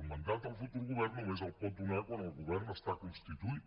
el mandat al futur govern només el pot donar quan el govern està constituït